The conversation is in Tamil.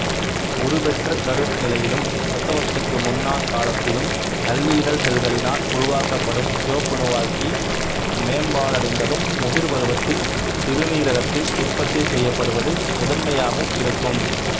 உருப்பெற்றகரு நிலையிலும் பிரசவத்துக்குமுன்னான காலத்திலும் கல்லீரல் செல்களினால் உருவாக்கப்படும் சிவப்பணுவாக்கி மேம்பாடடைந்தும் முதிர்பருவத்தில் சிறுநீரகத்தில் உற்பத்தி செய்யப்படுவது முதன்மையாகவும் இருக்கும்